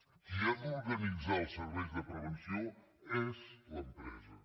qui ha d’organitzar els serveis de prevenció és l’empresa